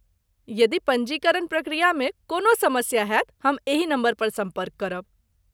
यदि पञ्जीकरण प्रक्रियामे कोनो समस्या होयत, हम एही नम्बरपर सम्पर्क करब।